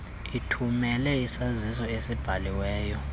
ithumele isaziso esibhaliweyo